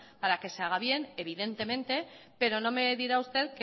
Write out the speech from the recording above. para que se haga bien evidentemente pero no me dirá usted